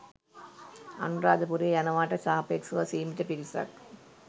අනුරාධපුරේ යනවාට සාපේක්ෂව සීමිත පිරිසක්.